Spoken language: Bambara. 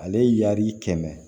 Ale y'a'i kɛmɛ